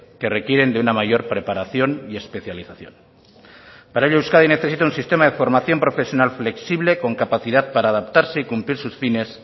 que requieren de una mayor preparación y especialización para ello euskadi necesita un sistema de formación profesional flexible con capacidad para adaptarse y cumplir sus fines